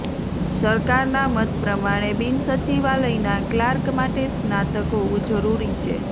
સરકારના મત પ્રમાણે બિનસચિવાલયના ક્લાર્ક માટે સ્નાતક હોવું જરૂરી છે